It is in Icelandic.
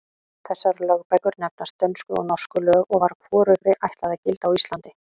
Þessar lögbækur nefnast Dönsku og Norsku lög og var hvorugri ætlað að gilda á Íslandi.